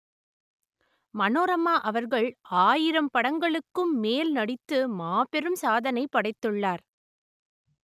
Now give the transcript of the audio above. மனோரமா அவர்கள் ஆயிரம் படங்களுக்கும் மேல் நடித்து மாபெரும் சாதனை படைத்துள்ளார்